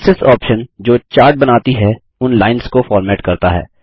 axis option जो chart बनाती हैं उन लाइन्स को फ़ॉर्मेट करता है